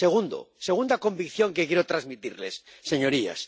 Segunda convicción que quiero transmitirles, señorías.